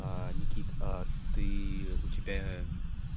никит а ты у тебя